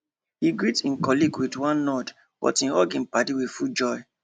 he greet him colleague with one nod but him hug him paddy with full joy